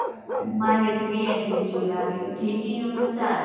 માંરે તો લાગે gtu માં સારું